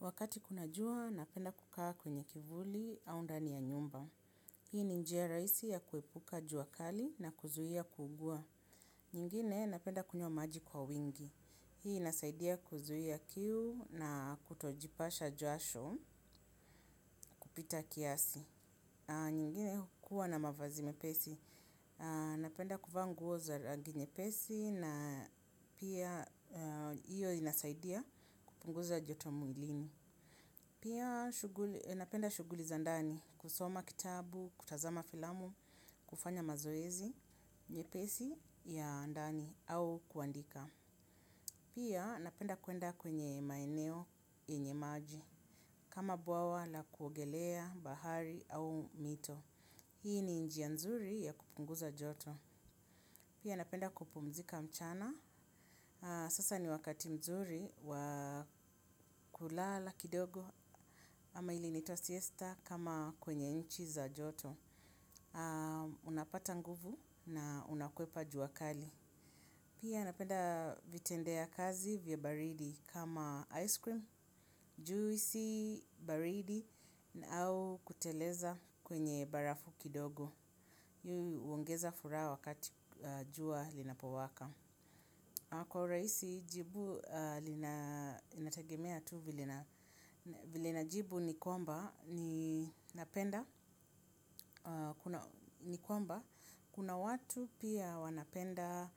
Wakati kuna jua, napenda kukaa kwenye kivuli, au ndani ya nyumba. Hii ni njia rahisi ya kuepuka jua kali na kuzuhia kuugua. Nyingine napenda kunywa maji kwa wingi. Hii inasaidia kuzuhia kiu na kutojipasha jasho, kupita kiasi. Nyingine kukua na mavazi mepesi. Napenda kuvaa nguo za rangi nyepesi na pia hiyo inasaidia kupunguza joto mwilini. Pia napenda shuguli za ndani kusoma kitabu, kutazama filamu, kufanya mazoezi, nyepesi ya ndani au kuandika. Pia napenda kuenda kwenye maeneo yenye maji kama buawa la kuogelea bahari au mito. Hii ni njia nzuri ya kupunguza joto. Pia napenda kupumzika mchana. Sasa ni wakati mzuri wakulala kidogo ama ile inaitwa siesta kama kwenye inchi za joto. Unapata nguvu na unakuepa jua kali. Pia napenda vitendea kazi vya baridi kama ice cream, juisi baridi na au kuteleza kwenye barafu kidogo. Hio huongeza furaha wakati jua linapowaka. Kwa urahisi, jibu linategemea tu vile najibu ni kwamba ni kwamba, kuna watu pia wanapenda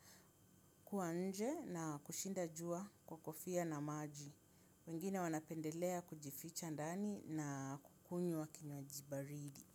kuwa nje na kushinda jua kwa kofia na maji. Wengine wanapendelea kujificha ndani na kukunywa kinywaji baridi.